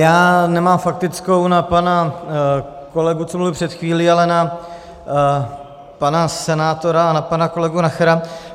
Já nemám faktickou na pana kolegu, co mluvil před chvílí, ale na pana senátora a na pana kolegu Nachera.